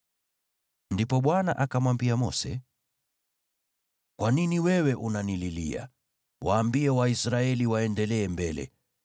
Ndipo Bwana akamwambia Mose, “Kwa nini wewe unanililia? Waambie Waisraeli waendelee mbele.